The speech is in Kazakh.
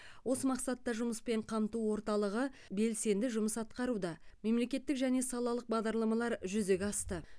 осы мақсатта жұмыспен қамту орталығы белсенді жұмыс атқаруда мемлекеттік және салалық бағдарламалар жүзеге асты